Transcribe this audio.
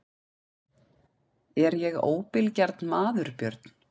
Er ég óbilgjarn maður Björn?